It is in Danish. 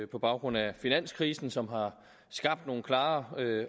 på baggrund af finanskrisen som har skabt nogle klare